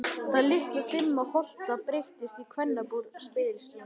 Þessi litla dimma hola breyttist í kvennabúr, speglasal.